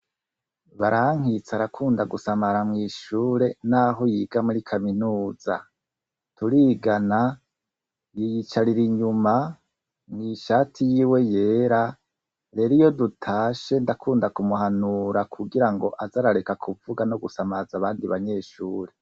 Barankitse arakunda gusamara mw'ishure naho yiga muri kaminuza. Turigana yiyicarira inyuma mw'ishati yiwe yera rero iyo dutashe ndakunda kumuhanura kugirango aze arareka kuvuga no gusamaza abandi banyeshure.